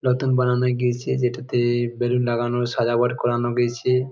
নতুন বানানো গিয়েছে যেটাতে-এ বেলুন লাগান সাজানো করানো গেছে।